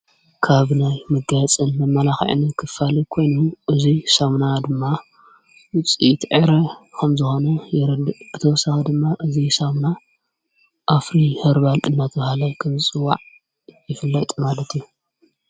ካብናይ ምጋያጽን መማላኽእኒ ክፋል ኮይኑ እዙይ ሳምና ድማ ዉፂተኤረ ኸም ዝሆነ ይርድዕ ብተወሳኻ ድማ እዙይ ሳምና ኣፍሪ ህርባል ጥናት ሃላይ ክምፅዋዕ ይፍላይ ማለት እዩ::